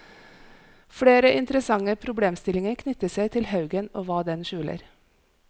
Flere interessante problemstillinger knytter seg til haugen og hva den skjuler.